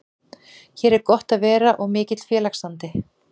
Hér er gott að vera og mikill félagsandi.